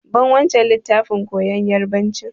Ban wancan littafin koyan yarbanci!